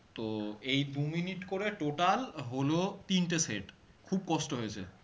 তো এই দু minute করে total হল তিনটে set খুব কষ্ট হয়েছে